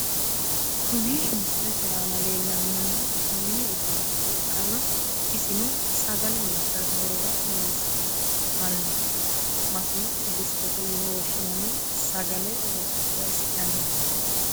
Kuni misilete aana lellanni noohu mini uduunicho ikkanna isino sagale loosirate horora hosannoho. su'masino distete yine woshshinanni sagale raisi'naniho .